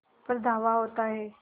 पर धावा होता है